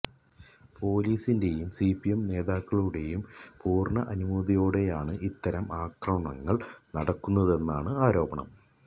പോലീസിന്റേയും സിപിഎം നേതാക്കളുടേയും പൂര്ണ അനുമതിയോടെയാണ് ഇത്തരം അക്രമങ്ങള് നടക്കുന്നതെന്നാണ് ആരോപണം